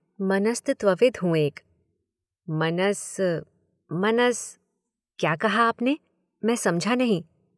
मनस्तत्वविद हूँ एक। मनस ,मनस, क्या कहा आपने ? मैं समझा नहीं।